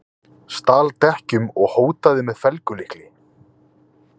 Stal dekkjum og hótaði með felgulykli